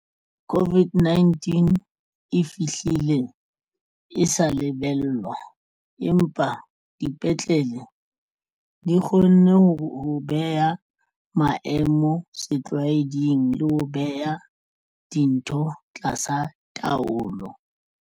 COVID-19 e fihlile e sa lebellwa empa dipetlele di kgonne ho beha maemo setlwaeding le ho beha dintho tlasa taolo.